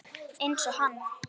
Einsog hann.